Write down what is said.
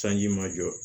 Sanji ma jɔ